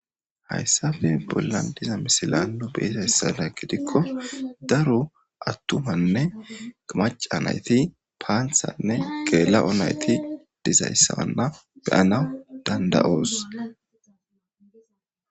Hayssappe bollan diza misila nu be'izayssadan gidikko daro attumanne macca nayti paanththanne geela'o nayti dizayssana be'anaw danda'os.